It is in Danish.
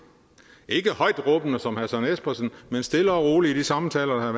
ikke højtråbende som herre søren espersen men stille og roligt i de samtaler der